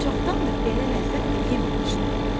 Çoxdan bəri belə ləzzətlə yeməmişdim.